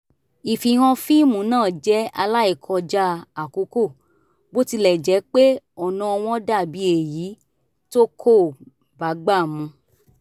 ìfihàn fíìmù náà jẹ́ aláìkọjá àkókò bó tilẹ̀ jẹ́ pé ọ̀nà wọn dà bí èyí tó kò bágbà mu